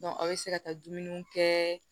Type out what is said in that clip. aw bɛ se ka taa dumuni kɛ